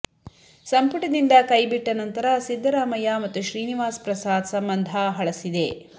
ಸಂಪುಟದಿಂದ ಕೈಬಿಟ್ಟ ನಂತರ ಸಿದ್ದರಾಮಯ್ಯ ಮತ್ತು ಶ್ರೀನಿವಾಸ್ ಪ್ರಸಾದ್ ಸಂಬಂಧ ಹಳಸಿದೆ